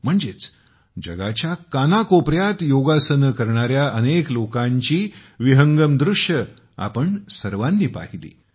म्हणजेच जगाच्या कानाकोपऱ्यात योगासने करणाऱ्या अनेक लोकांची विहंगम दृश्ये आपण सर्वांनी पाहिली